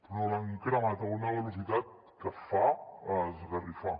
però l’han cremat a una velocitat que fa esgarrifar